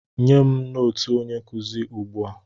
Nye m nootu onye nkụzi ugbu a!